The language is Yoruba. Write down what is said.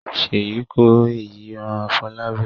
Sheyi ko èeyi ran Folabi.